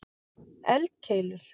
eldkeilur